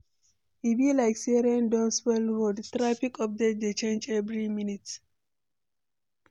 E be like say rain don spoil road, traffic update dey change every minute.